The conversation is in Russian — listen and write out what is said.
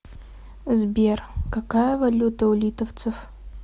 сбер какая валюта у литовцев